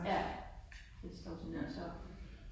Ja. Det står simpelthen tomt